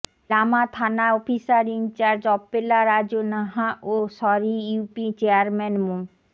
লামা থানা officer in charge Appela Raju Naha ও Sarai UP chairman মো